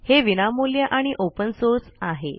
हे विनामूल्य आणि ओपेन सोर्स आहे